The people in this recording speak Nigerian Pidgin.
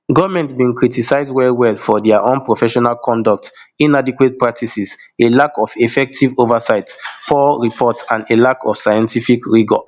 goment bin criticise wellwell for dia unprofessional conduct inadequate practices a lack of effective oversight poor reports and a lack of scientific rigour